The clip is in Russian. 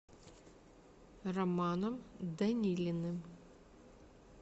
романом данилиным